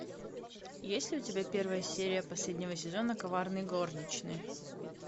есть ли у тебя первая серия последнего сезона коварные горничные